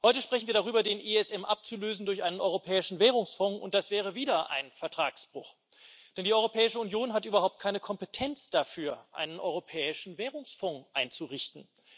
Heute sprechen wir darüber, den ESM durch einen Europäischen Währungsfonds abzulösen, und das wäre wieder ein Vertragsbruch, denn die Europäische Union hat überhaupt keine Kompetenz dafür, einen Europäischen Währungsfonds einzurichten.